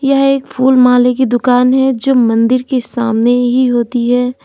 यह एक फूल माले की दुकान है जो मंदिर के सामने ही होती है।